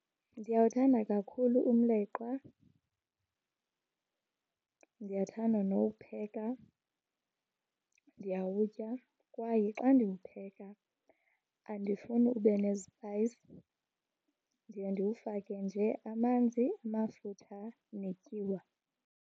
Ndiyawuthanda kakhulu umleqwa, ndiyathanda nowupheka. Ndiyawutya kwaye xa ndiwupheka andifuni ube nezipayisi. Ndiye ndiwufake nje amanzi, amafutha netyiwa.